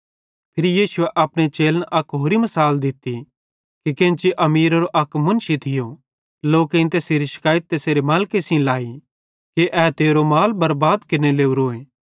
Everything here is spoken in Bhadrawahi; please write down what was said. फिरी यीशुए अपने चेलन अक होरि मिसाल दित्ती कि केन्ची अमीरेरो अक मुन्शी थियो लोकेईं तैसेरी शकैइत तैसेरे मालिके सेइं लाई कि ए तेरो माल बरबाद केरने लोरोए